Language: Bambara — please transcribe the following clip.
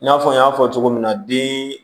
I n'a fɔ n y'a fɔ cogo min na den